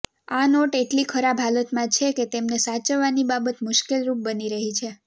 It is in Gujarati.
આ નોટ એટલી ખરાબ હાલતમાં છે કે તેમને સાચવવાની બાબત મુશ્કેલરુપ બની રહી છે